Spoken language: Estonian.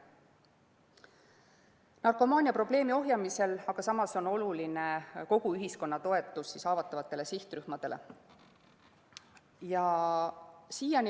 Narkomaaniaprobleemi ohjeldamisel on oluline kogu ühiskonna toetus haavatavatele sihtrühmadele.